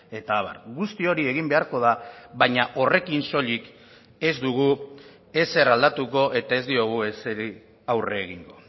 eta abar guzti hori egin beharko da baina horrekin soilik ez dugu ezer aldatuko eta ez diogu ezeri aurre egingo